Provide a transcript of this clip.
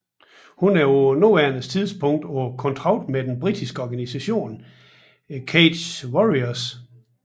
Hun er på nuværende tidspunkt på kontrakt med den britiske organisation Cage Warriors